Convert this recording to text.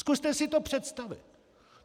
Zkuste si to představit!